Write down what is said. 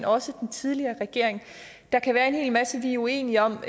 også den tidligere regering der kan være en hel masse vi er uenige om